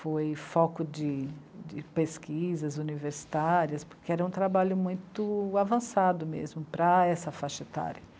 Foi foco de... de pesquisas universitárias, porque era um trabalho muito avançado mesmo para essa faixa etária.